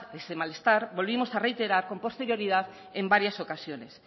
desde el malestar volvimos a reiterar con posterioridad en varias ocasiones